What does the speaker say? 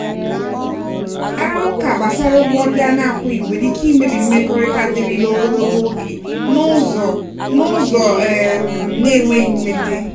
arụmụka gbasara ụgwọ ndị a na-akwụghị nwere ike imebi mmekọrịta dịrịla ogologo oge n'ụzọ n'ụzọ um na-enweghị mmete.